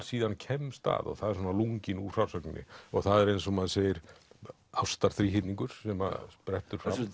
síðan kemst að og það er svona lunginn úr frásögninni og það er eins og maður segir sem sprettur fram